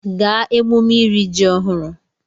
Gaa emume iri ji ọhụrụ!